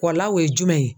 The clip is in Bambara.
Wala o ye jumɛn ye